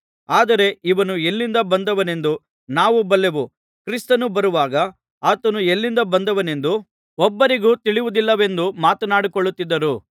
ಆದರೆ ಇವನು ಎಲ್ಲಿಂದ ಬಂದವನೆಂದು ನಾವು ಬಲ್ಲೆವು ಕ್ರಿಸ್ತನು ಬರುವಾಗ ಆತನು ಎಲ್ಲಿಂದ ಬಂದವನೆಂದು ಒಬ್ಬರಿಗೂ ತಿಳಿಯುವುದಿಲ್ಲವೆಂದು ಮಾತನಾಡಿಕೊಳ್ಳುತ್ತಿದ್ದರು